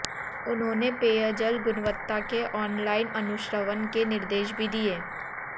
उन्होंने पेयजल गुणवत्ता के ऑन लाईन अनुश्रवण के निर्देश भी दिए